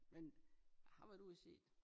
Men jeg har været ud og se